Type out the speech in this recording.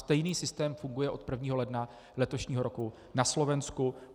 Stejný systém funguje od 1. ledna letošního roku na Slovensku.